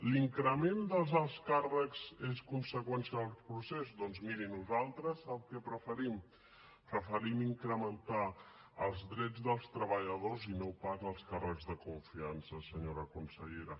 l’increment dels alts càrrecs és conseqüència del procés doncs miri nosaltres sap què preferim preferim incrementar els drets dels treballadors i no pas els càrrecs de confiança senyora consellera